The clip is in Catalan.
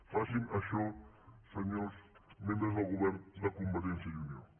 facin això senyors membres del govern de convergència i unió